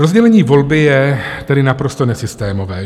Rozdělení volby je tedy naprosto nesystémové.